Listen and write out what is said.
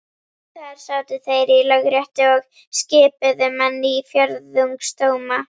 Þar sátu þeir í Lögréttu og skipuðu menn í fjórðungsdóma.